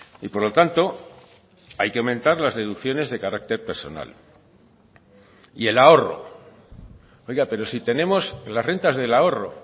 y por lo tanto hay que aumentar las deducciones de carácter personal y el ahorro oiga pero si tenemos las rentas del ahorro